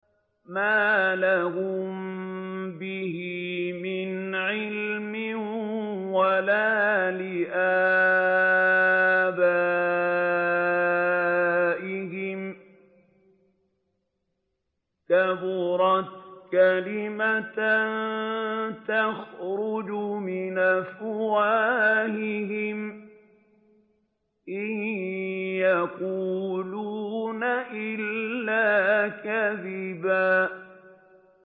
مَّا لَهُم بِهِ مِنْ عِلْمٍ وَلَا لِآبَائِهِمْ ۚ كَبُرَتْ كَلِمَةً تَخْرُجُ مِنْ أَفْوَاهِهِمْ ۚ إِن يَقُولُونَ إِلَّا كَذِبًا